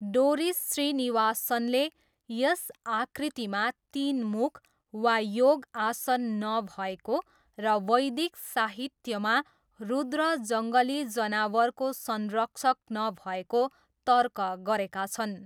Doris श्रीनिवासनले यस आकृतिमा तिन मुख वा योग आसन नभएको र वैदिक साहित्यमा रुद्र जङ्गली जनावरको संरक्षक नभएको तर्क गरेका छन्।